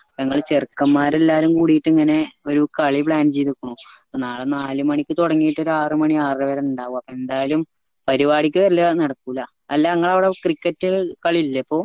ഞങ്ങൾ ചെറുക്കൻമാരെ എല്ലാവരും കൂടീറ്റ് ഇങ്ങനെ ഒരു കളി plan ചെയ്തുക്കുണു അപ്പൊ നാളെ ഒരു നാല് മണിക്ക് തൊടങ്ങീറ്റ് ആറ് മണി ആറര വരെ ഇണ്ടാവും അപ്പൊ എന്തായലും പരുവാടിക്ക് വെരൽ നടക്കൂല അല്ല ഇങ്ങള അവിടെ cricket കളി ഇല്ലേ ഇപ്പൊ